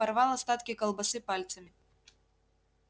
порвал остатки колбасы пальцами